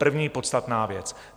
První podstatná věc.